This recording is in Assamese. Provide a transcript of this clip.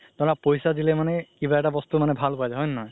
ধৰা পইচা দিলে মানে কিবা এটা বস্তু ভাল পোৱা যাই হয় নে নহয়